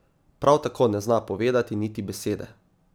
Prav tako ne zna povedati niti besede.